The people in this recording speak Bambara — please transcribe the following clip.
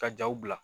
Ka jaw bila